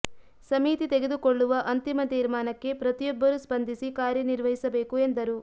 ಸಮಿತಿ ತೆಗೆದುಕೊಳ್ಳುವ ಅಂತಿಮ ತೀರ್ಮಾನಕ್ಕೆ ಪ್ರತಿಯೊಬ್ಬರು ಸ್ಪಂದಿಸಿ ಕಾರ್ಯ ನಿರ್ವಹಿಸಬೇಕು ಎಂದರು